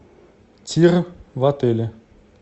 тир в отеле